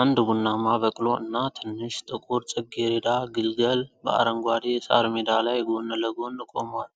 አንድ ቡናማ በቅሎ እና ትንሽ ጥቁር ጽጌረዳ ግልገል በአረንጓዴ የሳር ሜዳ ላይ ጎን ለጎን ቆመዋል።